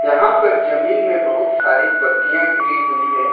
यहां पर जमीन में बहुत सारी पत्तियां गिरी हुई है।